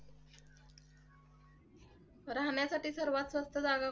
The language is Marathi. राहण्यासाठी सर्वात स्वस्त जागा कोणती?